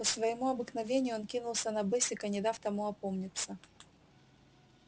по своему обыкновению он кинулся на бэсика не дав тому опомниться